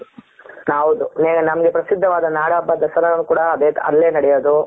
ಹೌದು ಈಗ ನಮಗೆ ಪ್ರಸಿದ್ಧವಾದ ನಾಡಬ್ಬ ದಸರಾ ಕೂಡ ಅಲ್ಲೇ ನಡೆಯೋದು